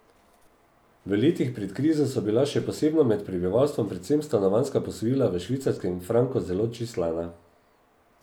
V letih pred krizo so bila še posebno med prebivalstvom predvsem stanovanjska posojila v švicarskem franku zelo čislana.